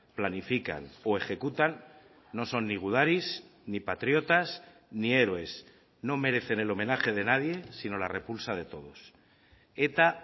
planifican o ejecutan no son ni gudaris ni patriotas ni héroes no merecen el homenaje de nadie sino la repulsa de todos eta